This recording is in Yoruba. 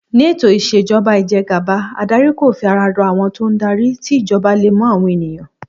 Ní ètò ìs̩èjo̩ba ìje̩gàba, adarí kò fi ara ro̩ àwo̩n tó ń darí, tí ìjo̩ba le mo̩ àwo̩n ènìyàn